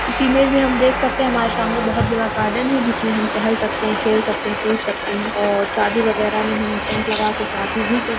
इस इमेज में हम देख सकते है हमारे सामने बहुत बड़ा गार्डन है जिसमे हम टेहल सकते है खेल सकते है कूद सकते है और शादी वगेरा में हम टेंट लगा के शादी भी कर--